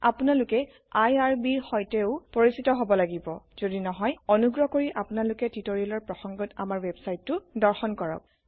আপোনালোকে irbৰ সৈতেও পৰিচিত হব লাগিব জদি নহই অনুগ্ৰহ কৰি আপোনালোকে টিউটোৰিয়েলৰ প্ৰসংগত আমাৰ ৱেবচাইটটো দৰ্শন কৰক